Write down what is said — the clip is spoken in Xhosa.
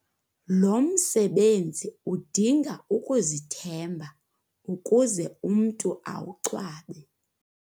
Lo msebenzi udinga ukuzithemba ukuze umntu awucwabe.